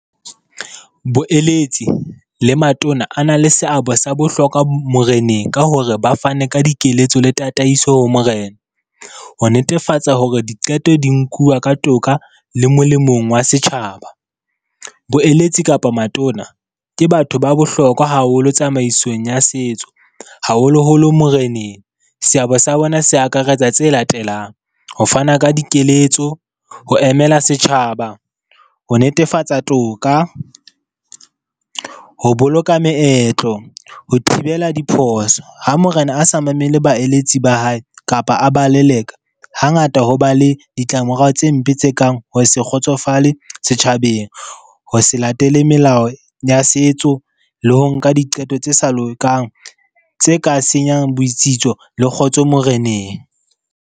Boeletsi le matona a na le seabo sa bohlokwa moreneng ka hore ba fane ka dikeletso le tataiso ho morena, ho netefatsa hore diqeto di nkuwa ka toka le molemong wa setjhaba. Boeletsi kapa matona ke batho ba bohlokwa haholo tsamaisong ya setso, haholoholo moreneng, se abo sa bona se akaretsa tse latelang ho fana ka dikeletso, ho emela setjhaba, ho netefatsa toka, ho boloka meetlo, ho thibela diphoso. Ha morena a sa mamele baeletsi ba hae kapa a ba leleka, hangata ho ba le ditlamorao tse mpe tse kang ho ho se kgotsofale setjhabeng, ho se latele melao ya setso le ho nka diqeto tse sa lokang tse ka senyang boitsitso le kgotso moreneng.